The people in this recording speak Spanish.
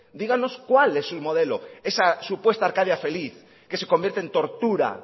díganos cuál es su modelo esa supuesta arcadia feliz que se convierte en tortura